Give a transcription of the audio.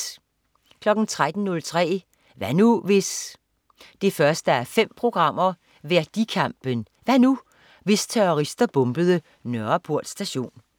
13.03 Hvad nu, hvis? 1:5. Værdikampen. Hvad nu, hvis terrorister bombede Nørreport Station?